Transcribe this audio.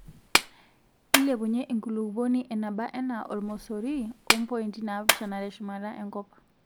ilepunyie enkulupuoni enabaa anaa ormosori ompointi naapishana teshumata enkop